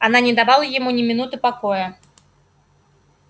она не давала ему ни минуты покоя